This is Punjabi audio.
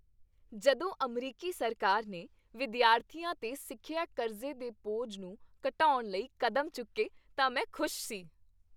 ਜਦੋਂ ਅਮਰੀਕੀ ਸਰਕਾਰ ਨੇ ਵਿਦਿਆਰਥੀਆਂ 'ਤੇ ਸਿੱਖਿਆ ਕਰਜ਼ੇ ਦੇ ਬੋਝ ਨੂੰ ਘਟਾਉਣ ਲਈ ਕਦਮ ਚੁੱਕੇ ਤਾਂ ਮੈਂ ਖੁਸ਼ ਸੀ।